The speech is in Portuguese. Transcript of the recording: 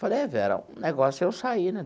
Falei, é, Vera, o negócio é eu sair, né?